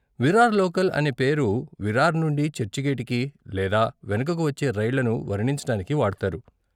Virar local అనే పేరు విరార్ నుండి చర్చిగేటుకి లేదా వెనుకకు వచ్చే రైళ్ళను వర్ణించటానికి వాడతారు.